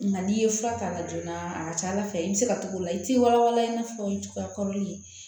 Nka n'i ye fura k'a la joona a ka ca ala fɛ i bɛ se ka t'o la i tɛ wala wala i n'a fɔ o ye cogoya kɔrɔlen ye